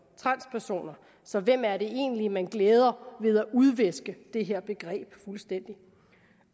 transpersoner så hvem er det egentlig man glæder ved at udviske det her begreb fuldstændig